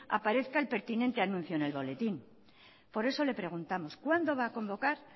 aparezca el pertinente anuncio en el boletín por eso le preguntamos cuándo va a convocar